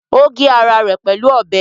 Ó gé ara rẹ̀ pẹ̀lú ọbẹ̀?